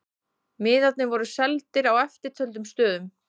Miðarnir voru seldir á eftirtöldum stöðum